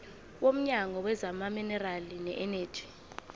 womnyango wezamaminerali neeneji